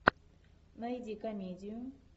найди комедию